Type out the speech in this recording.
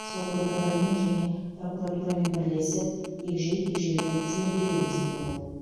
сот органдарымен және прокуратурамен бірлесіп егжей тегжейлі зерделейміз деді ол